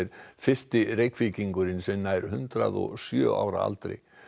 fyrsti Reykvíkingurinn sem nær hundrað og sjö ára aldri